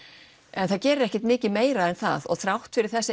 en það gerir ekki mikið meira en það og þrátt fyrir þessa